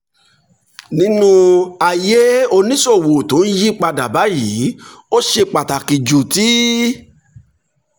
nínú ayé oníṣòwò tó ń yí padà báyìí ó ṣe pàtàkì ju ti